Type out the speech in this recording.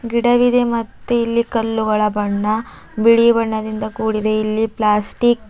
ಗಿಡವಿದೆ ಮತ್ತೆ ಇಲ್ಲಿ ಕಲ್ಲುಗಳ ಬಣ್ಣ ಬಿಳಿ ಬಣ್ಣದಿಂದ ಕೂಡಿದೆ ಇಲ್ಲಿ ಪ್ಲಾಸ್ಟಿಕ್ .